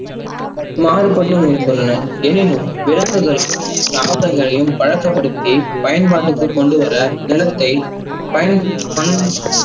மாறுபட்டும் இருக்கின்றன. எனினும், விலங்குகளின் காதல்லயும் பழக்கபடுத்தி பயன்படுத்தி கொண்டுவர நிலத்தை பயன்~பண்